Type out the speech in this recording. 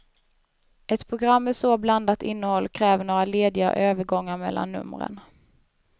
Ett program med så blandat innehåll kräver några lediga övergångar mellan numren.